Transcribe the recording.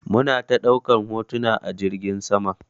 Muna ta ɗaukar hotuna a jirgin saman.